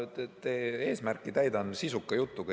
Ma täidan teie eesmärki sisuka jutuga.